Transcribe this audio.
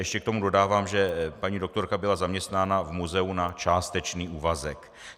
Ještě k tomu dodávám, že paní doktorka byla zaměstnána v muzeu na částečný úvazek.